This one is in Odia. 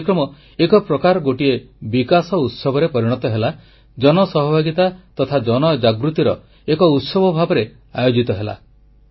ଏହି କାର୍ଯ୍ୟକ୍ରମ ଏକ ପ୍ରକାର ଗୋଟିଏ ବିକାଶ ଉତ୍ସବରେ ପରିଣତ ହେଲା ଜନ ସହଭାଗିତା ତଥା ଜନଜାଗୃତିର ଏକ ଉତ୍ସବ ଭାବରେ ଆୟୋଜିତ ହେଲା